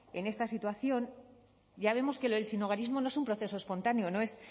en esta situación ya vemos que lo del sinhogarismo no es un proceso espontáneo no es